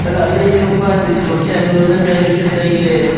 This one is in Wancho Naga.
lahley enu ma jik juak hia enu jam jaonu chu tai ley.